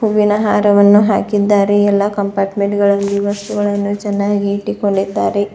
ಹೂವಿನ ಹಾರವನ್ನು ಹಾಕಿದ್ದಾರೆ ಎಲ್ಲಾ ಕಂಪಾರ್ಟಮೆಂಟ್ ಗಳಲ್ಲಿ ವಸ್ತುಗಳನ್ನು ಚೆನ್ನಾಗಿ ಇಟ್ಟುಕೊಂಡಿದ್ದಾರೆ.